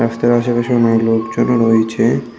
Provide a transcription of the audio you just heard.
রাস্তার আশেপাশে অনেক লোকজনও রয়েছে।